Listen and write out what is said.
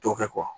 Dɔ kɛ